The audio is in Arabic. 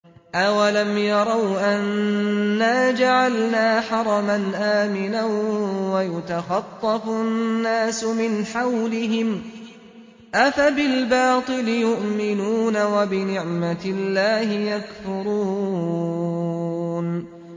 أَوَلَمْ يَرَوْا أَنَّا جَعَلْنَا حَرَمًا آمِنًا وَيُتَخَطَّفُ النَّاسُ مِنْ حَوْلِهِمْ ۚ أَفَبِالْبَاطِلِ يُؤْمِنُونَ وَبِنِعْمَةِ اللَّهِ يَكْفُرُونَ